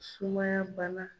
Sumaya bana.